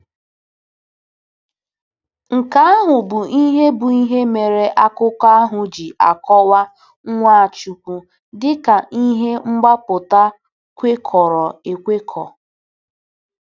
Nke ahụ bụ ihe bụ ihe mere akụkọ ahụ ji akọwa Nwachukwu dị ka “ihe mgbapụta kwekọrọ ekwekọ.”